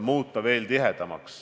Suur tänu!